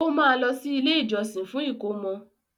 O ma lọ sí ilé ìjósìn fún ìkómọ.